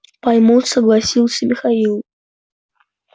поймут согласился михаил